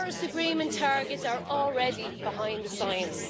Our Paris Agreement targets are already behind the science.